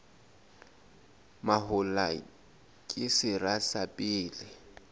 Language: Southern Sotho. mahola ke sera sa pele